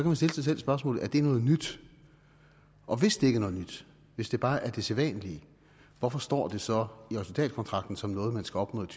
man stille sig selv spørgsmålet er det noget nyt og hvis det ikke er noget nyt hvis det bare er det sædvanlige hvorfor står det så i resultatkontrakten som noget man skal opnå i